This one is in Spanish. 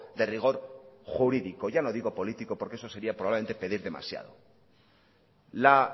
de rigor jurídico ya no digo político porque eso sería probablemente pedir demasiado la